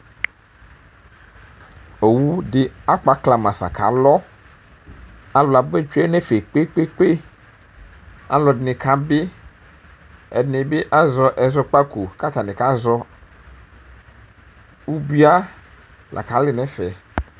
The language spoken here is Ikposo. owu di akpɔ aglamasa ku alɔalu abetsoe nu ɛfɛ Kpekpekpealu ɛdini kabi ɛdini bi asɛ ɛzɔ kpako ku atani kazɔubia lakali nu ɛfɛ